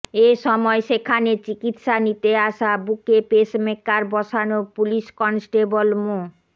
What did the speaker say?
এ সময় সেখানে চিকিৎসা নিতে আসা বুকে পেসমেকার বসানো পুলিশ কনস্টেবল মো